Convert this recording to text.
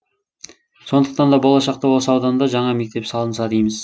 сондықтан да болашақта осы ауданда жаңа мектеп салынса дейміз